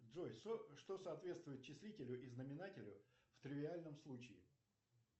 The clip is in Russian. джой что соответствует числителю и знаменателю в тривиальном случае